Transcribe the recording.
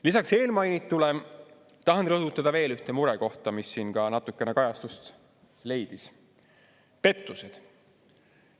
Lisaks eelmainitule tahan rõhutada veel ühte murekohta, mis siin ka natukene kajastust leidis: pettused.